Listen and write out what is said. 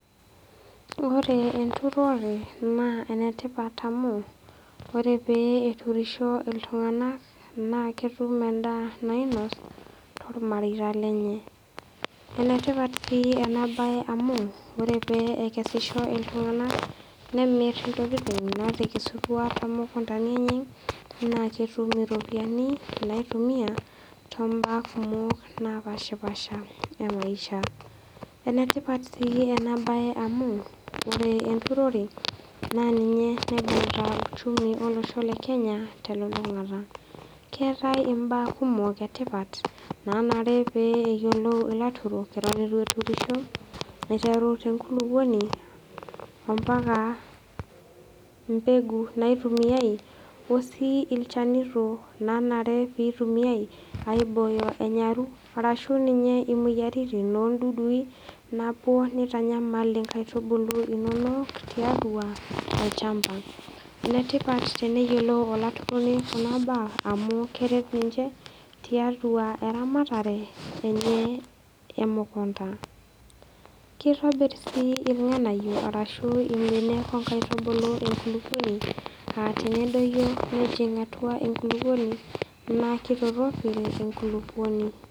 Ore enturore naa enetipat amu ore pee eturisho iltung'ana naa ketum endaa nainosh tolmareita lenye. Enetipat sii ena bae amu ore pee ekesisho iltung'ana nemir intokitin natekesutua tomukundani enye naa ketum iropiani naitumia tombaa kumok napaashipaasha emaisha. Enetipat sii ena bae amu ore enturore naa ninye naibung'ita uchumi olosho le Kenya telulung'ata. Keatai imbaa kumok e tipat nanare pee eyiolou ilaturok eton eitu eturisho aiteru tenkulukuoni mpaka embegu naitumiai osii ilchanito nanare pee eitumiai aibooyo enyaru arashu ninye imoyiaritin ondudui napuo neitanyamal inkaitubulu inono tiatua olchamba. Enetipat neyiolou olaturoni kuna baa amu keret ninche tiatua eramatare enye emukunda. Keitobir sii ilng'anayio ashu imbenek o nkaitubulu enkulukuoni tenedoyio nejing atua enkulukuoni naa keitoropil enkulukuoni.